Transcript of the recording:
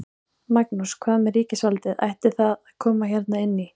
Magnús: Hvað með ríkisvaldið, ætti það að koma hérna inn í?